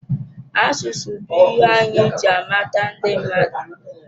Asụsụ bụ ihe anyị ji amata ndị mmadụ.